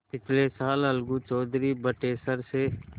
पिछले साल अलगू चौधरी बटेसर से